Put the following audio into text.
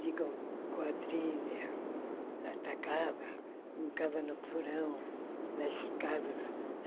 De go quadrilha, atacava, brincava no porão das casas.